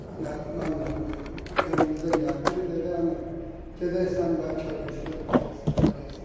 Mən mənlə evimizə gəldi, dedi əmi, gedək sən bəlkə bir söz deyəsən, eləyəsən.